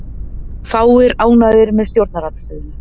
Fáir ánægðir með stjórnarandstöðuna